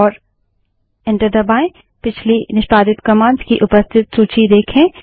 और एंटर दबायें पिछली निष्पादित कमांड्स की उपस्थित सूची देखें